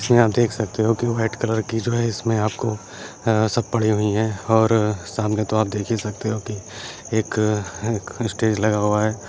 इसमें आप देख सकते हो कि व्हाइट कलर की जो है इसमें आपको अं सब पड़ी हुईं हैं और-अ सामने तो आप देख ही सकते हो कि एक-अ आ स्टेज लगा हुआ है।